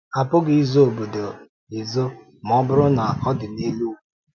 A pụghị izo obodo ezo ma ọ bụrụ na ọ dị n’elu ugwu.